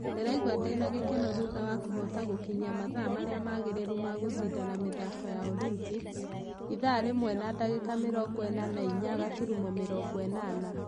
"Ndiraigua ndĩ na gĩkeno thutha wa kũhota gũkinyia mathaa maria magerĩru ma gũshidana mĩthako-ini ya Olympics.( ithaa rĩmwe na dagĩka mĩrongo ĩna na inya gaturumo mĩrongo ĩnana)